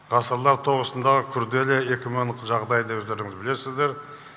ғасырлар тобысындағы күрделі экономикалық жағдайды өздеріңіз білесіздер